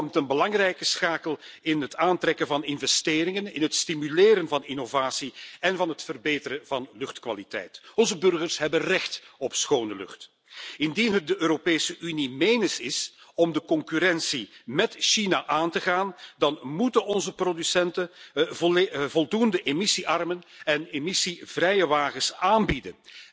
Dit vormt een belangrijke schakel in het aantrekken van investeringen, in het stimuleren van innovatie en van het verbeteren van luchtkwaliteit. Onze burgers hebben recht op schone lucht. Indien het de Europese Unie menens is om de concurrentie met China aan te gaan, dan moeten onze producenten voldoende emissie arme en emissie vrije wagens aanbieden.